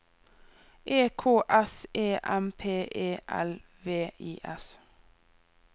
E K S E M P E L V I S